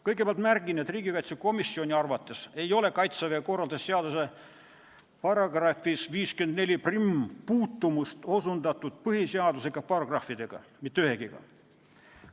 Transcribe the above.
Kõigepealt märgin, et riigikaitsekomisjoni arvates ei ole Kaitseväe korralduse seaduse §-l 541 puutumust osutatud põhiseaduse paragrahvidega, mitte ühegagi.